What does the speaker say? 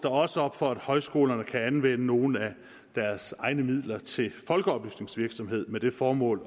også op for at højskolerne kan anvende nogle af deres egne midler til folkeoplysningsvirksomhed med det formål